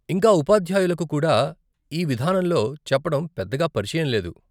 ఇంకా ఉపాధ్యాయులకు కూడా ఈ విధానంలో చెప్పటం పెద్దగా పరిచయం లేదు.